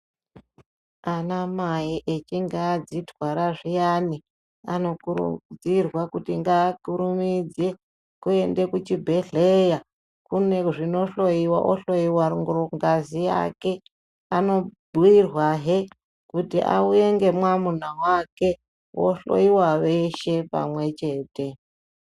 Ana mai echinge adzitwara zviyani, anokurudzirwa kuti ngakurumidze kuenda kuchibhedhleya kune zvinohlowiwa ohlowiwa rungazi yake. Anobhuirwahe kuti auye ngemwamuna wake vohlowiwa veshe pamwechete.